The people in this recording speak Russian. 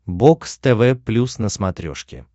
бокс тв плюс на смотрешке